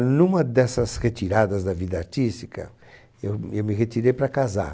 Numa dessas retiradas da vida artística, eu eu me retirei para casar.